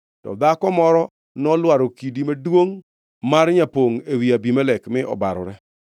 to dhako moro nolwaro kidi maduongʼ mar nyapongʼ ewi Abimelek mi obarore.